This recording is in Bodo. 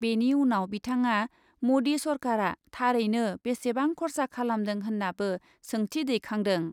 बेनि उनाव बिथाङा मदि सरकारा थारैनो बेसेबां खरसा खालामदों होन्नाबो सोंथि दैखांदों ।